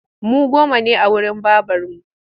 Mu goma ne a wurin babarmu